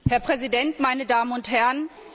Herr Präsident, meine Damen und Herren!